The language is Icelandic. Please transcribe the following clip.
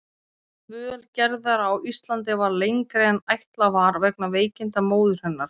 Og dvöl Gerðar á Íslandi varð lengri en ætlað var vegna veikinda móður hennar.